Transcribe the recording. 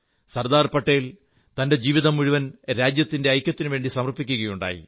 സർദാർ പട്ടേൽ തന്റെ ജീവിതം മുഴുവൻ രാജ്യത്തിന്റെ ഐക്യത്തിനുവേണ്ടി സമർപ്പിക്കയുണ്ടായി